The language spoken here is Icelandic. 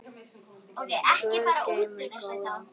Guð geymir góðan dreng.